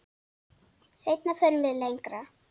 Seinna förum við lengra.